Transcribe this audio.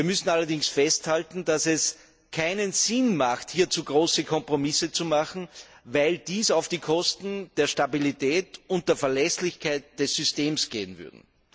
Wir müssen allerdings festhalten, dass es keinen Sinn hat, hier zu große Kompromisse zu machen, weil dies auf Kosten der Stabilität und der Verlässlichkeit des Systems gehen würde.